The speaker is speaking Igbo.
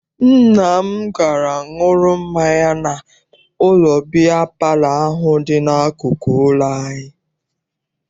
Nna m gara ṅụrụ mmanya n'ụlọ biya palọ ahụ dị n'akụkụ ụlọ anyị.